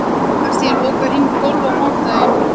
Kastíel, bókaðu hring í golf á sunnudaginn.